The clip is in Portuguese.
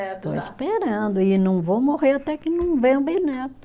né. Estou esperando e não vou morrer até que não venha um bisneto.